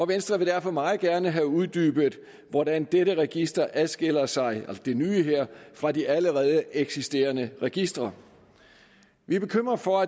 venstre vil derfor meget gerne have uddybet hvordan dette nye register adskiller sig fra de allerede eksisterende registre vi er bekymret for